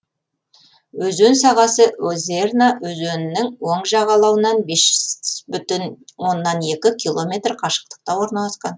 өзен сағасы озерна өзенінің оң жағалауынан бес бүтін оннан екі километр қашықтықта орналасқан